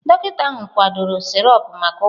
Dọkịta ahụ kwadoro sirop maka ụkwara.